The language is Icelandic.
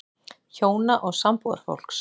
HJÓNA OG SAMBÚÐARFÓLKS